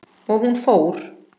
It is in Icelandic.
Og hún fór.